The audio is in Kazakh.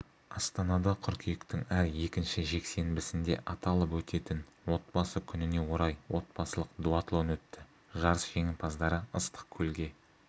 астанада қыркүйектің әр екінші жексенбісінде аталып өтетін отбасы күніне орай отбасылық дуатлон өтті жарыс жеңімпаздары ыстықкөлге